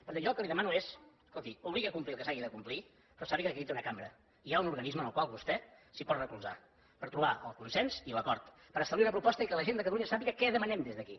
per tant jo el que li demano és escolti obligui a complir el que s’hagi de complir però sàpiga que aquí hi té una cambra i hi ha un organisme en el qual vostè s’hi pot recolzar per trobar el consens i l’acord per establir una proposta i que la gent de catalunya sàpiga què demanem des d’aquí